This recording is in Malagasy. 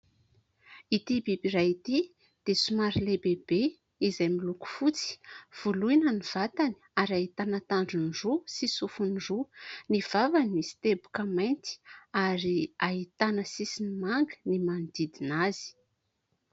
Ity biby iray ity dia somary lehibehibe izay miloko fotsy. Voloina ny vatany ary ahitana tandrony roa sy sofony roa. Ny vavany misy teboka mainty ary ahitana sisiny manga ny manodidina azy.